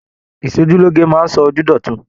Ìsòjúloge máa sọ ojú d'ọtun.